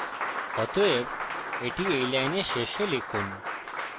অতএব এটি এই লাইনের শেষে লিখুন